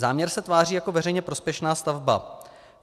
Záměr se tváří jako veřejně prospěšná stavba.